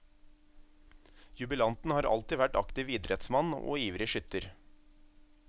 Jubilanten har alltid vært aktiv idrettsmann og ivrig skytter.